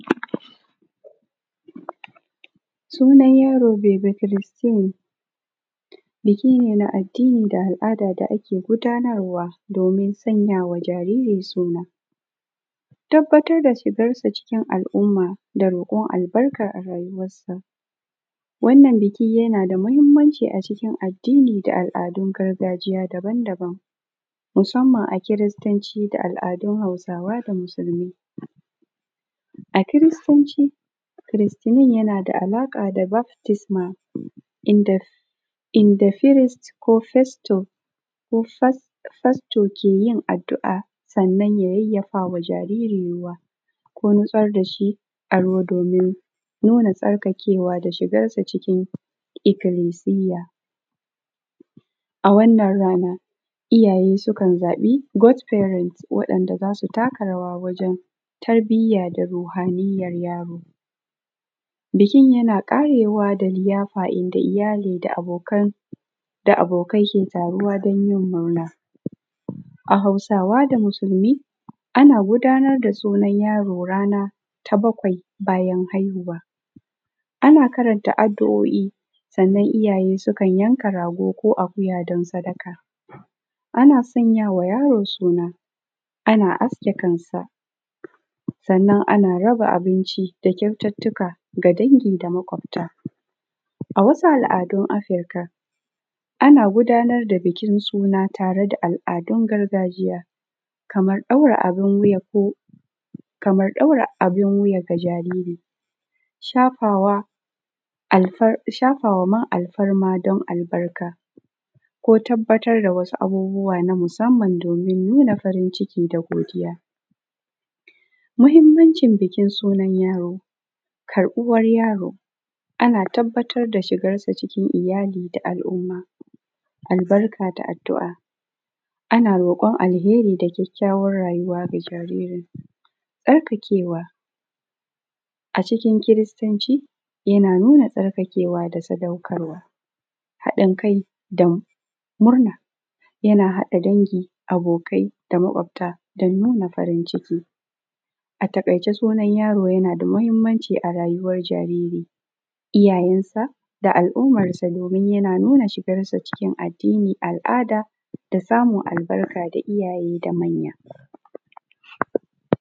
Sunan yaro Baby Christy, biki ne na addini da al’ada da ake gudanarwa domin sanya wa jariri suna tabbatar da shigar sa cikin al’umma da roƙon albarka a rayuwarsa, wannan biki yana da muhimmanci acikin addini da al’adun gargajiya daban-daban musamman a kiristanci da al’adun Hausawa da musulmai. A kiristanci, kiristinin yana da alaƙa da baptis man inda Christ ko pastor ke yin addu’a sannan ya yafawa jariri ruwa ko shigar dashi a ruwa domin nuna tsarkake wa da shigar sa cikin ibilisiya a wannan rana iyaye sukan zabi godparent waɗan da zasu taka rawa wajen tarbiya da ruhaniyar yaro bikin yana ƙarewa da liyafa da iyali da abokai ke taruwa dan yin maula. A Hausawa da musulmi ana gudanar da sunan yaro rana ta bakwai bayan haihuwa ana karanta addu’oi sannan iyaye sukan yanka rago ko akuya dan sadaka ana sanyawa yaro suna ana aske kansa sannan ana raba abinci da kyaututuka ga dangi da makwabta a wasu al’adun afrika ana gudanar da bikin suna tare da al’adun gargajiya kamar ɗaura abun wuya ga jariri shafawa man alfarma dan albarka ko tabbatar da wasu abubuwa musamman domin nuna farin ciki da godiya. Mahimmancin bikin sunan yaro karbuwar yaro ana tabbatar da shigarsa cikin iyali da al’umma albarka da addu’a ana roƙon alkhairi da kyakyawan rayuwa ga jaririn tsarkakewa acikin christanci yana nuna tsarkakewa da sadaukar wa haɗin kai dan murna yana haɗa dangin abokai da mkwafta domin nuna farin ciki ataƙaice sunan yaro yana da muhimmanci a rayuwar jariri iyayensa da al’ummarsa domin yana nuna shigarsa cikin addini al’ada da samun albarka da iyaye da manya.